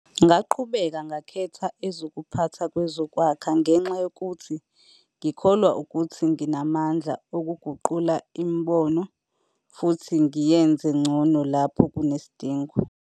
"Ngaqhubeka ngakhetha ezokuphatha kwezokwakha ngenxa yokuthi ngikholwa ukuthi nginamandla okuguqula imboni futhi ngiyenze ngcono lapho kunesidingo."